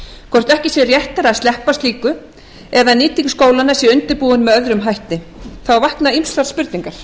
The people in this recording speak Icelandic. hvort ekki sé réttara að sleppa slíku ef nýting skólanna er undirbúin með öðrum hætti vakna ýmsar spurningar